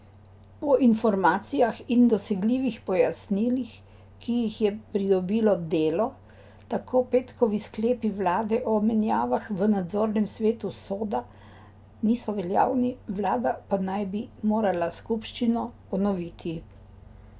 Po informacijah in dosegljivih pojasnilih, ki jih je pridobilo Delo, tako petkovi sklepi vlade o menjavah v nadzornem svetu Soda niso veljavni, vlada pa naj bi morala skupščino ponoviti.